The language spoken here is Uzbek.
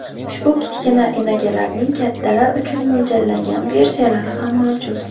Ushbu kichkina enagalarning kattalar uchun mo‘ljallangan versiyalari ham mavjud.